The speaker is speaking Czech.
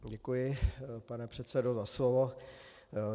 Děkuji, pane předsedo, za slovo.